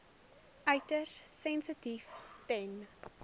uiters sensitief ten